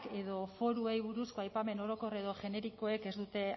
edo foruei buruzko aipamen orokor edo generikoek ez dute